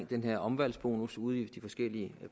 den her omvalgsbonus ude i de forskellige